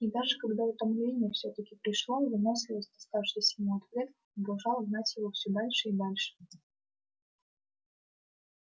и даже когда утомление всё-таки пришло выносливость доставшаяся ему от предков продолжала гнать его всё дальше и дальше